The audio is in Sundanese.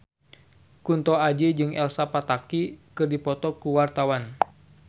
Kunto Aji jeung Elsa Pataky keur dipoto ku wartawan